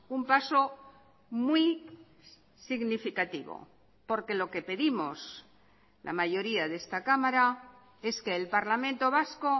un paso muy significativo porque lo que pedimos la mayoría de esta cámara es que el parlamento vasco